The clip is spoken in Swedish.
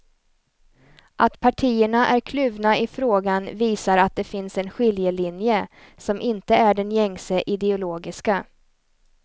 Att partierna är kluvna i frågan visar att det finns en skiljelinje, som inte är den gängse ideologiska.